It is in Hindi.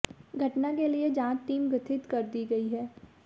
घटना के लिए जांच टीम गठित कर दी है